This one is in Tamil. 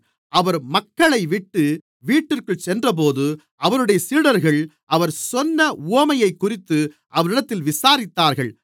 அவர் மக்களைவிட்டு வீட்டிற்குள் சென்றபோது அவருடைய சீடர்கள் அவர் சொன்ன உவமையைக்குறித்து அவரிடத்தில் விசாரித்தார்கள்